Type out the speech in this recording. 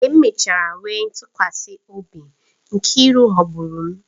Mgbe m mechara nwee ntụkwasị obi, Nkiru ghọgburu m